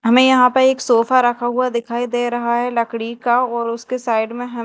हमें यहां पे एक सोफा रखा हुआ दिखाई दे रहा है लकड़ी का और उसके साइड में ह--